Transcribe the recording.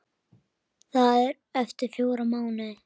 Það er eftir fjóra mánuði.